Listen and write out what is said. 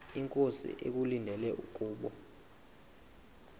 inkosi ekulindele kubo